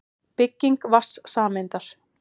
Bygging vatnssameindar.